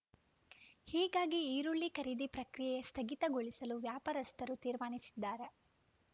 ಹೀಗಾಗಿ ಈರುಳ್ಳಿ ಖರೀದಿ ಪ್ರಕ್ರಿಯೆ ಸ್ಥಗಿತಗೊಳಿಸಲು ವ್ಯಾಪಾರಸ್ಥರು ತೀರ್ಮಾನಿಸಿದ್ದಾರೆ